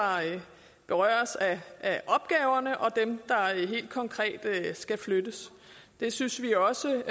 berøres af opgaverne og dem der helt konkret skal flyttes det synes vi også